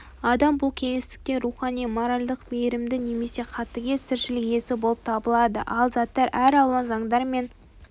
адам бұл кеңістікте рухани моральдық мейірімді немесе қатыгез тіршілік иесі болып табылады ал заттар әр алуан заңдар мен